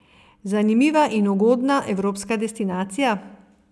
Zanimiva in ugodna evropska destinacija?